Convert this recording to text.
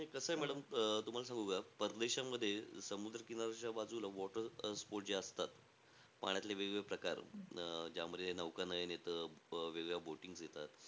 नाई कसंय madam अं तुम्हाला सांगू का? परदेशामध्ये समुद्र किनाऱ्याच्या बाजूला water sports जे असतात. पाण्यातले वेग-वेगळे प्रकार. अं ज्यामध्ये नौकानयन येतं, वेग-वेगळ्या boatings येतात.